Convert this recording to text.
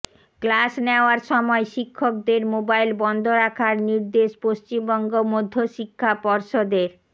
class নেওয়ার সময় শিক্ষকদের মোবাইল বন্ধ রাখার নির্দেশ পশ্চিমবঙ্গ মধ্যশিক্ষা পর্ষদের